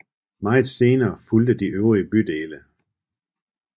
Meget senere fulgte de øvrige bydele